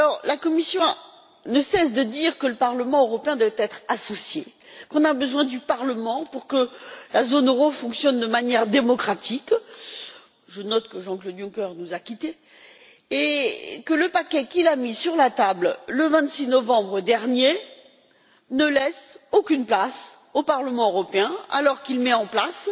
La Commission ne cesse de dire que le Parlement européen doit être associé au processus, qu'on a besoin du Parlement pour que la zone euro fonctionne de manière démocratique je note que Jean Claude Juncker nous a quittés et que le paquet qu'il a mis sur la table le 21 octobre dernier ne laisse aucune place au Parlement européen, alors qu'il met en place